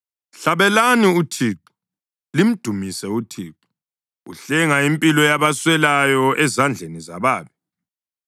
Hlabelani uThixo! Limdumise uThixo! Uhlenga impilo yabaswelayo ezandleni zababi.